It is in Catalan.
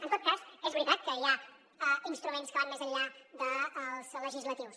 en tot cas és veritat que hi ha instruments que van més enllà dels legislatius